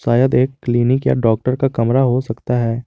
शायद एक क्लीनिक या डॉक्टर का कमरा हो सकता है।